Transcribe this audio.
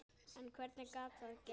En hvernig gat það gerst?